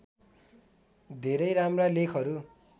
धेरै राम्रा लेखहरू